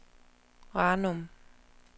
Ranum